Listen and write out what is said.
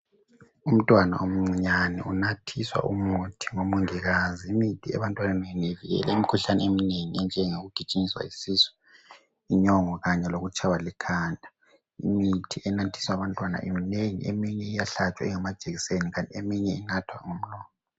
umntwana omcinyane unathiswa umuthi ngomongikazi imithi ebantwaneni ivikela imkhuhlane emnengi enjengokugijinyiswa yisisu inyongo kanye lokutshywa likhanda imithi enathiswa abantwana minengi eminye iyahlatshwa ingamajekiseni kanti eminye inathwa ngomlomo